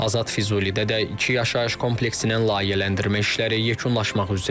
Azad Füzulidə də iki yaşayış kompleksinin layihələndirmə işləri yekunlaşmaq üzrədir.